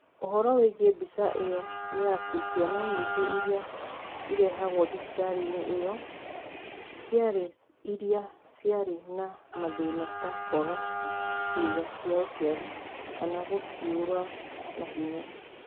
Ũhoro wĩgiĩ mbica ĩyo nĩ ate Ciana nyingĩ iria irehagũo thibitarĩ-inĩ ĩyo ciarĩ iria ciarĩ na mathĩna, ta kwaga ciĩga cia ũciari, kana kũcirũga na ihenya.